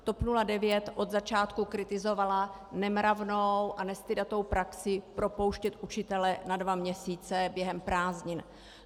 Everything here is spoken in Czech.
TOP 09 od začátku kritizovala nemravnou a nestydatou praxi propouštět učitele na dva měsíce během prázdnin.